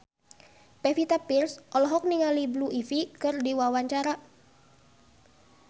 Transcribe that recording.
Pevita Pearce olohok ningali Blue Ivy keur diwawancara